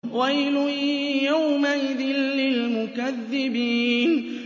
وَيْلٌ يَوْمَئِذٍ لِّلْمُكَذِّبِينَ